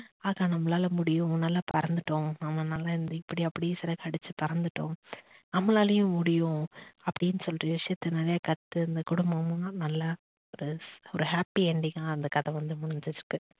அது நம்மளால முடியும் நம்ம நல்லா பறந்துட்டோம் நம்மளால இப்படிஅப்படி சிறகடிச்சு பறந்துட்டோம் நம்மளாலையும் முடியும் அப்படின்னு சொல்ற விஷயத்தை நிறையா கத்து அந்த குடும்பமும் நல்லா ஒரு happy ending கா அந்த கதை முடிஞ்சு வந்து முடிஞ்சிருக்கு